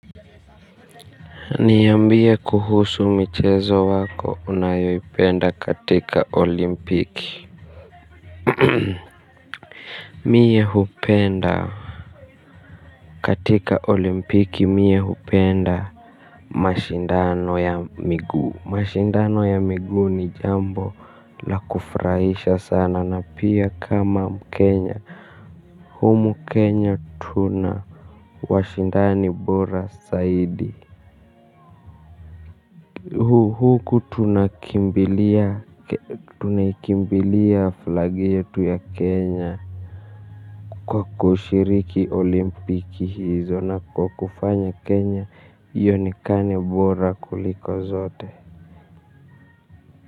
Niyambie kuhusu michezo wako unayopenda katika olimpiki. Mie hupenda katika olimpiki mie hupenda mashindano ya migu. Mashindano ya migu ni jambo la kufraisha sana na pia kama mkenya. Humu kenya tuna washindani bora saidi. Huku tunakimbilia flag yetu ya Kenya kwa kushiriki olimpiki hizo na kwa kufanya Kenya ionekanebora kuliko zote.